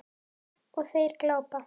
Og þeir glápa.